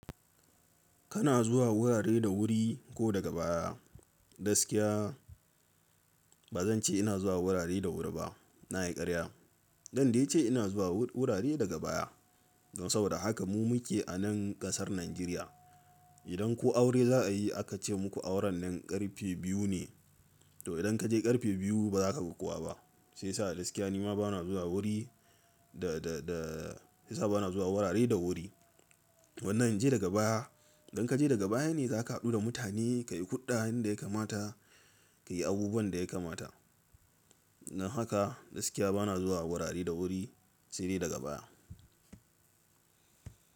Kana zuwa wurare da wuri ko daga baya. Gaskiya ba zan ce ina zuwa wurare da wuri ba, na yi ƙarya. Dan dai ce ina zuwa wurare daga baya. Don saboda haka mu muke a nan ƙasar Najeriya. Idan ko aure za a yi aka ce muku auren nan ƙarfe biyu ne. To idan ka je ƙarfe biyu ba za ka ga kowa ba. Sai sa gaskiya nima ba na zuwa wuri da, da, da sai sa ba na zuwa wurare da wuri. Wannan in je daga baya, idan ka je daga baya ne za ka haɗu da mutane, ka yi hulɗa yin da ya kamata, ka yi abubuwan da ya kamata. Don haka gaskiya ba na zuwa wurare da wuri sai dai daga baya.